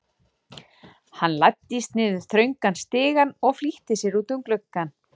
Hann læddist niður þröngan stigann og flýtti sér út að glugganum.